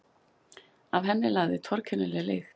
Af henni lagði torkennilega lykt.